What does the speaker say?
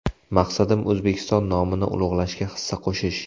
Maqsadim O‘zbekiston nomini ulug‘lashga hissa qo‘shish.